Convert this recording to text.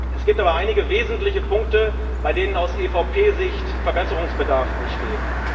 Es gibt aber einige wesentliche Punkte, bei denen aus EVP Sicht Verbesserungsbedarf besteht.